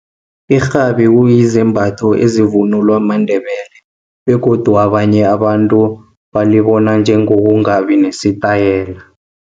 Irhabi kuyizimbatho ezivunulwa maNdebele, begodu abanye abantu nalibona njengokungabi nesitayela.